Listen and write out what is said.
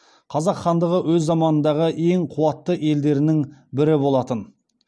қазақ хандығы өз заманындағы ең қуатты елдерінің бірі болатын